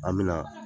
An bɛna